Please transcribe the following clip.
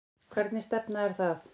Hvernig stefna er það?